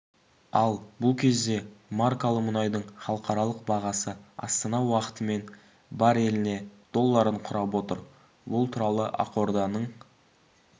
ал бұл кезде маркалы мұнайдың халықаралық бағасы астана уақытымен бареліне долларын құрап отыр бұл туралы ақорданың